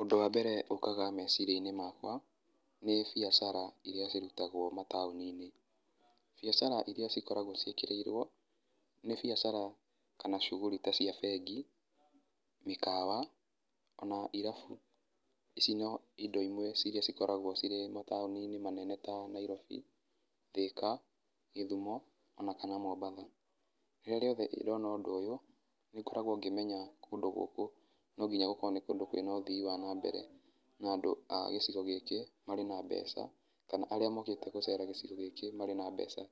Ũndũ wa mbere ukaga meciria-inĩ makwa nĩ biacara iria cirutagwo mataũni-inĩ. Biacara iria cikoragwo ciĩkĩrĩirwo nĩ biacara na cuguri ta cia bengi, mĩkawa on irabu. Ici no indo imwe iria cikoragwo cirĩ mataũni-inĩ manene ta Nairobi, Thĩka, Gĩthumo ona kana Mombatha. Rĩrĩa rĩothe ndona ũndũ ũyũ, nĩngoragwo ngĩmenya kũndũ gũkũ no nginya gũkorwo nĩ kũndũ kwĩna ũthii wa na mbere. Na, andũ a gĩcigo gĩkĩ marĩ na mbeca kana arĩa mokĩte gũcera gĩcigo gĩkĩ marĩ na mbeca